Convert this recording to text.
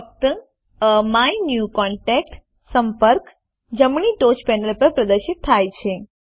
ફક્ત એમીન્યુકોન્ટેક્ટ સંપર્ક જમણી ટોચ પેનલ પર પ્રદર્શિત થાય છે